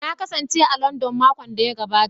Na kasance a Landan makon da ya gabata